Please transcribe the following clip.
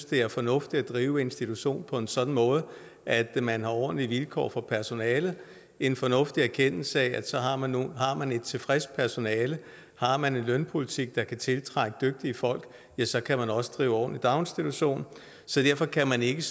det er fornuftigt at drive institution på en sådan måde at man har ordentlige vilkår for personalet en fornuftig erkendelse af at har man man et tilfreds personale har man en lønpolitik der kan tiltrække dygtige folk ja så kan man også drive ordentlig daginstitution så derfor kan man ikke